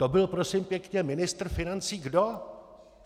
To byl prosím pěkně ministr financí kdo?